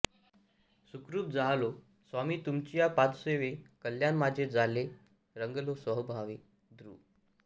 सुखरूप जाहलो स्वामी तुमचिया पादसेवे कल्याण माझे जाले रंगलो सोहंभावे धृ